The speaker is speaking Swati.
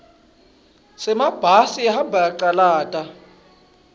semabhasi ahambe acalata